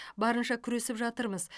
барынша күресіп жатырмыз